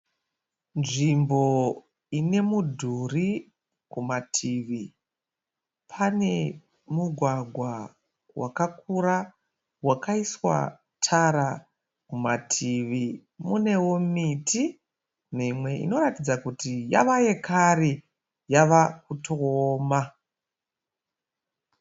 Nzvimbo ine mudhuri kumativi. Pane mugwagwa wakakura wakaiswa tara kumativi. Munewo miti mimwe inoratidza kuti yava yekare yava kutooma.